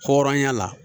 Hɔrɔnya la